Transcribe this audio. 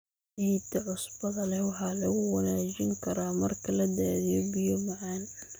Ciidda cusbada leh waxa lagu wanaajin karaa marka la daadiyo biyo macaan.